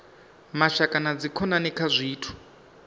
mashaka na dzikhonani kha zwithu